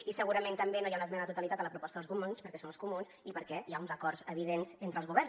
i segurament també no hi ha una esmena a la totalitat a la proposta dels comuns perquè són els comuns i perquè hi ha uns acords evidents entre els governs